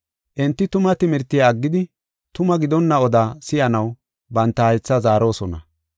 Enti tuma timirtiya aggidi, tuma gidonna odaa si7anaw banta haytha zaarosona.